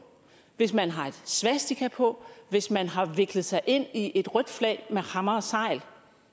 hvis man har et svastika på hvis man har viklet sig ind i et rødt flag med hammer og segl